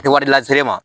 Kɛ wari lase e ma